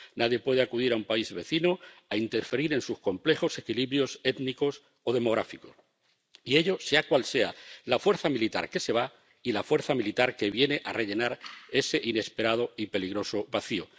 Nadie puede acudir a un país vecino a interferir en sus complejos equilibrios étnicos o demográficos y ello sea cual sea la fuerza militar que se va y la fuerza militar que viene a llenar ese inesperado y peligroso vacío.